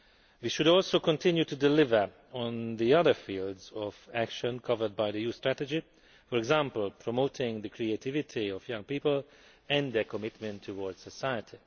We should also continue to deliver on the other fields of action covered by the Youth Strategy, for example promoting the creativity of young people and their commitment towards society.